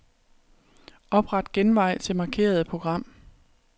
Opret genvej til markerede program.